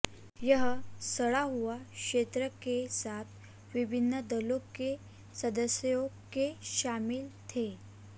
यह सड़ा हुआ क्षेत्र के साथ विभिन्न दलों के सदस्यों के शामिल थे